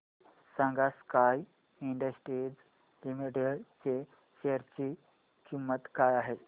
सांगा Sky Industries Limited च्या share ची किंमत काय आहे